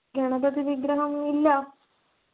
ഗണപതി വിഗ്രഹം ഇല്ല